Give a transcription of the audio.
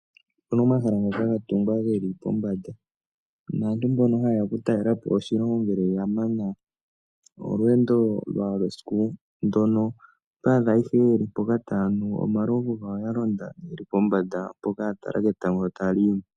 Opuna omahala ngoka gatungwa geli pombanda, naantu mboka hayeya okutalela po oshilongo ngele yamana olweendo lwawo lwesiku ndono, oto adha ihe yeli mpoka taya nu omalovu gawo yalonda yeli pombanda mpoka yatala etango sho taliyi mo.